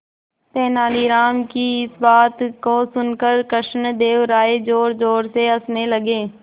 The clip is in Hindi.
तेनालीराम की इस बात को सुनकर कृष्णदेव राय जोरजोर से हंसने लगे